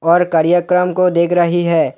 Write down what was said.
और कार्यक्रम को देख रही है।